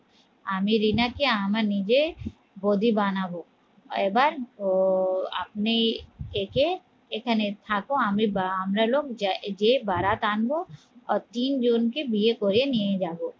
আমি রিনাকে আমার নিজে বৌদি বানাবো এবার আহ আপনি একে এখানে থাকো আমি বা আমরা লোক যায় যে বারাত আনবো তিনজনকে বিয়ে করে নিয়ে যাবো